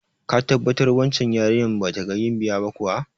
Ka tabbatar wancan yarinya ba daga Gambiya ba kuwa?